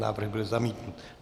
Návrh byl zamítnut.